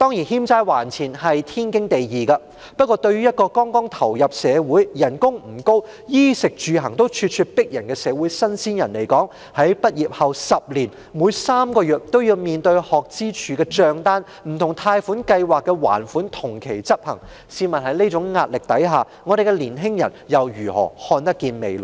欠債還錢本是天經地義，但對一個剛投身社會、工資不高、應付衣食住行也大有壓力的社會"新鮮人"來說，在畢業後10年內的每3個月都要面對學生資助處的帳單，不同貸款計劃的還款同期執行，試問在這種壓力下，我們的年青人如何看得見未來？